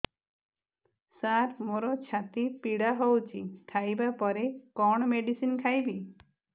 ସାର ମୋର ଛାତି ପୀଡା ହଉଚି ଖାଇବା ପରେ କଣ ମେଡିସିନ ଖାଇବି